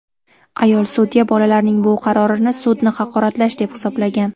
Ayol sudya bolalarning bu qarorini sudni haqoratlash deb hisoblagan.